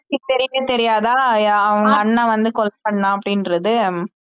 தெரியவே தெரியாதா அவங்க அண்ணா வந்து கொலை பண்ணான் அப்படின்றது